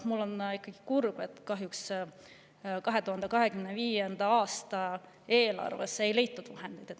Mul on ikkagi kahju, et 2025. aasta eelarvesse ei leitud selleks vahendeid.